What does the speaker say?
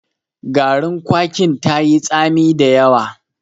Garin kwakin tayi tsami da yawa.